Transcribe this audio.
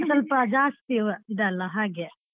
ಸ್ವಲ್ಪ ಜಾಸ್ತಿ ಇದಲ್ಲ ಹಾಗೆ.